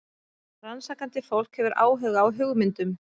Rannsakandi fólk hefur áhuga á hugmyndum.